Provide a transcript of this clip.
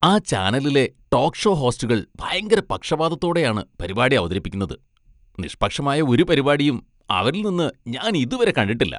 ആ ചാനലിലെ talk show ഹോസ്റ്റുകൾ ഭയങ്കര പക്ഷപാതത്തോടെയാണ് പരിപാടി അവതരിപ്പിക്കുന്നത്, നിഷ്പക്ഷമായ ഒരു പരിപാടിയും അവരിൽ നിന്ന് ഞാൻ ഇതുവരെ കണ്ടിട്ടില്ല.